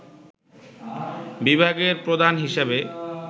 বিভাগের প্রধান হিসাবে